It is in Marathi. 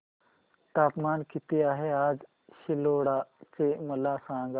तापमान किती आहे आज सिल्लोड चे मला सांगा